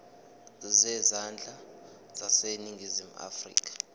zezandla zaseningizimu afrika